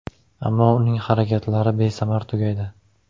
Ammo uning harakatlari besamar tugaydi.